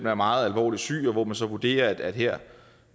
er meget alvorligt syg og hvor man så vurderer at her